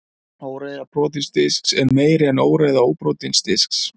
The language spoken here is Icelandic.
óreiða brotins disks er meiri en óreiða óbrotins disks